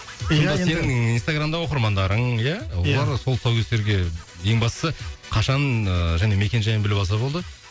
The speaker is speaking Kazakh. иә енді сонда сенің инстаграмда оқырмандарың иә иә олар сол тұсаукесерге ең бастысы қашан ыыы және мекен жайын біліп алса болды